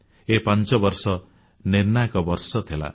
ଏ ପାଞ୍ଚବର୍ଷ ନିର୍ଣ୍ଣାୟକ ଥିଲା